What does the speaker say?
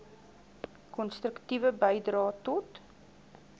konstruktiewe bydrae tot